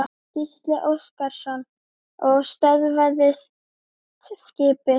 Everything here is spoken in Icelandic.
Gísli Óskarsson: Og stöðvaðist skipið?